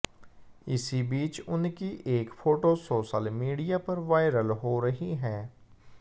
इस बीच उनकी एक फोटो सोशल मीडिया पर वायरल हो रही है